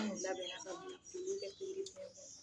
An ku k'olu kɛ pikiri biɲɛ na